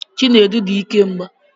Chinedu di ike mgba